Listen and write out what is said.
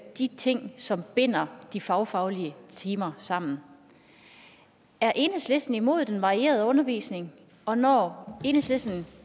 de ting som binder de fagfaglige timer sammen er enhedslisten imod den varierede undervisning og når enhedslisten